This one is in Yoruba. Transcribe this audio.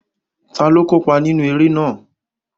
Taló kópa nínú eré náà?